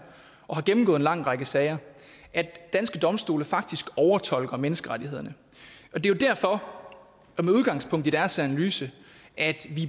og har gennemgået en lang række sager at danske domstole faktisk overfortolker menneskerettighederne og det er jo derfor at vi med udgangspunkt i deres analyse